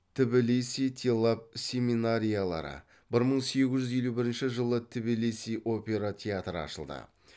тбилиси телав семинариялары бір мың сегіз жүз елу бірінші жылы тбилиси опера театры ашылды